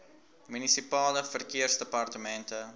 munisipale verkeersdepartemente